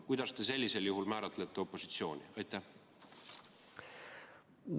Kuidas te sellisel juhul määratlete opositsiooni?